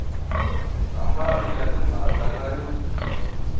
hambana ya timhaka na yo